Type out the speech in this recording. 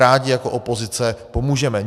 Rádi jako opozice pomůžeme.